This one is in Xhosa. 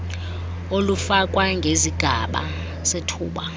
olufakwa ngezigaba zethuba